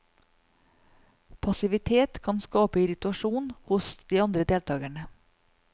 Passivitet kan skape irritasjon hos de andre deltakerne.